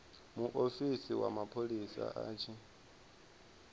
muofisi wa mapholisa a tshi